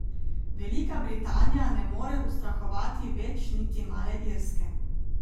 Velika Britanija ne more ustrahovati več niti male Irske.